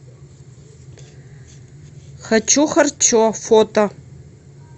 хочу харчо фото